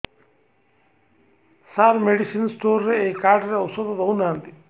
ସାର medicine store ରେ ଏଇ card ରେ ଔଷଧ ଦଉନାହାନ୍ତି